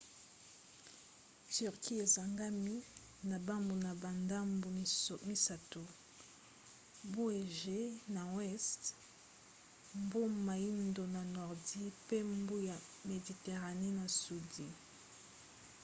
turquie ezingami na bambu na bandambu misato: mbu égée na weste mbu moindo na nordi pe mbu ya mediterane na sudi